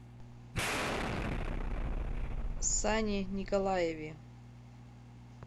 сане николаеве